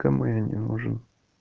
кому я не нужен